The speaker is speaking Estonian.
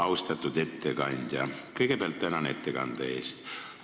Austatud ettekandja, kõigepealt tänan ettekande eest!